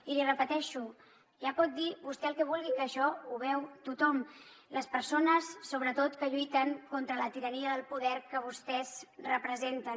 i l’hi repeteixo ja pot dir vostè el que vulgui que això ho veu tothom les persones sobretot que lluiten contra la tirania del poder que vostès representen